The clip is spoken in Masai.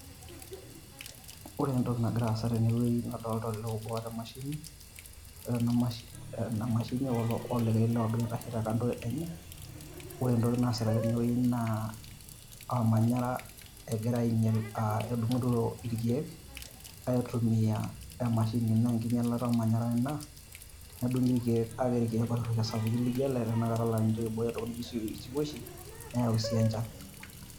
Ore entoki nagira aasa tenewei naa adolta olee obo oata emashini, ore enamashini emashini olikae lee ogira aitashe tekando enye. Ore entoki naasita tenewei naa olmanyara egira ainyel, ah edung'ito irkeek aitumia emashini. Na enkinyalata ormanyara ina, tenedung'i irkeek kake irkeek oirrusha lijo ele na ninche oibooyo isiwuoshi, neeu si enchan.